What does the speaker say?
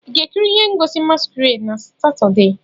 Ị ga-ekiri ihe ngosi masquerade na Satọde?